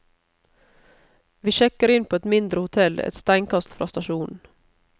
Vi sjekker inn på et mindre hotell et steinkast fra stasjonen.